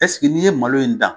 n'i ye malo in dan